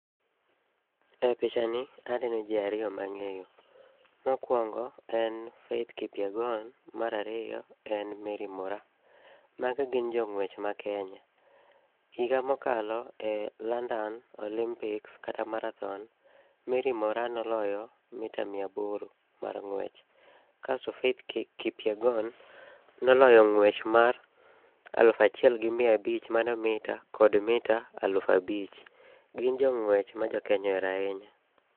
E pichani aneno ji ariyo mang'eyo. Mokuongo en Faith Kipyegon, mar ariyo en Mary Moraa. Magi gin jong'wech ma Kenya. Higa mokalo e London Olympics kata marathon, Mary Moraa noloyo mita miya aboro mar ng'wech kasto Faith Kipyegon noloyo ng'wech mar alufu achiel gi miya abich mano mita kod mita alufu abich. Gin jong'wech ma jo Kenya ohero ahinya.